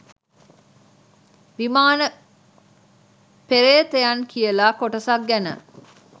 විමාන පේ්‍රතයන් කියලා කොටසක් ගැන.